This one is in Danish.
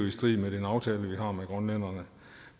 i strid med den aftale vi har med grønlænderne